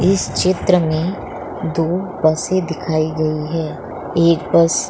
चित्र में दो बसे दिखाई गयी है एक बस --